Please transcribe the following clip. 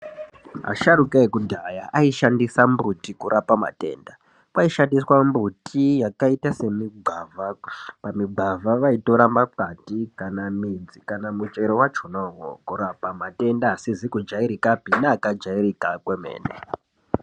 Asharukwa ekudhaya aishandisa mimbuti kurapa matenda , kwaishandiswa mumbuti yakaita semigwavha pamigwavha vaitora makwande kana midzi kana muchero wakona iwowo kurapa matenda akajairika neasizi kujairikapi.